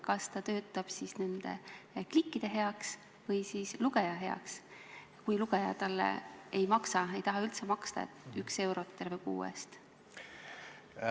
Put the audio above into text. Kas ta töötab nende klikkide heaks või lugeja heaks, kui lugeja talle ei maksa ega taha üldse maksta, ainult üks euro terve kuu eest?